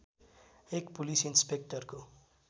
एक पुलिस इन्सपेक्टरको